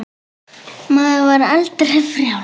Maður var aldrei frjáls.